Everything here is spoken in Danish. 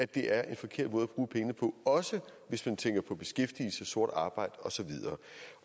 det er en forkert måde at bruge pengene på også hvis man tænker på beskæftigelse sort arbejde og så videre